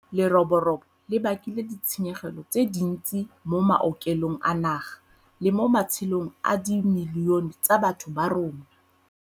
Leroborobo le bakile ditshenyegelo tse dintsi mo maokelong a naga le mo matshelong a dimilione tsa batho ba rona.